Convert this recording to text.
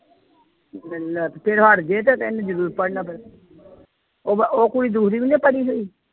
ਤੇ ਫਿਰ ਹਟ ਜਾਏ ਤੇ ਇਹਨੇ ਜ਼ਰੂਰ ਪੜ੍ਹਨਾ ਫਿਰ ਉਹ ਬ ਉਹ ਕੁੜੀ ਦੂਸਰੀ ਵੀ ਨੀ ਪੜ੍ਹੀ ਹੋਈ।